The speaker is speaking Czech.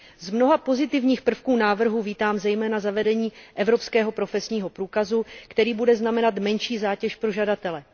Z mnoha pozitivních prvků návrhu vítám zejména zavedení evropského profesního průkazu, který bude znamenat menší zátěž pro žadatele.